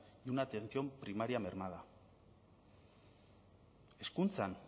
y una atención primaria mermada hezkuntzan